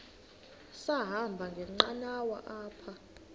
sahamba ngenqanawa apha